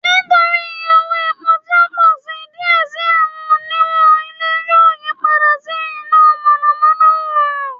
Nitori iye owo epo ti o pọ si diẹ sii awọn oniwun ile yoo yipada si ina mọnamọna oorun